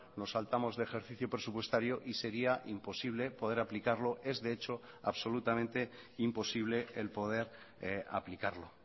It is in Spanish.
nos saltamos de ejercicio presupuestario y sería imposible poder aplicarlo es de hecho absolutamenteimposible el poder aplicarlo